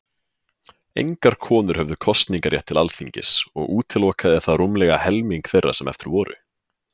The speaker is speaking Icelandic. Engar konur höfðu kosningarétt til Alþingis, og útilokaði það rúmlega helming þeirra sem eftir voru.